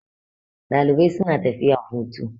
Dalibai suna tafiya hutu.